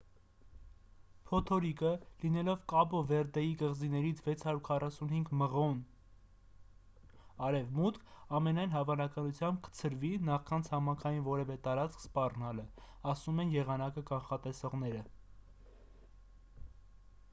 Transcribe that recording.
փոթորիկը լինելով կաբո վերդեի կղզիներից 645 մղոն 1040 կմ արևմուտք ամենայն հավանականությամբ կցրվի նախքան ցամաքային որևէ տարածքի սպառնալը,- ասում են եղանակը կանխատեսողները: